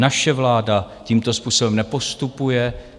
Naše vláda tímto způsobem nepostupuje.